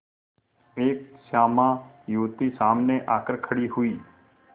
एक श्यामा युवती सामने आकर खड़ी हुई